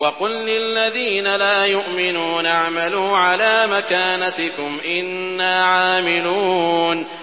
وَقُل لِّلَّذِينَ لَا يُؤْمِنُونَ اعْمَلُوا عَلَىٰ مَكَانَتِكُمْ إِنَّا عَامِلُونَ